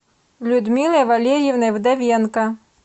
людмилой валерьевной вдовенко